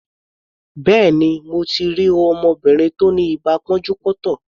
Béèni, mo ti rí ọmọbìnrin tí ó ní ibà pọ́njú-pọ́ntọ̀.